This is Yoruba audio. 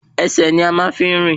Ẹsẹ̀ ni a máa ń fi ń rìn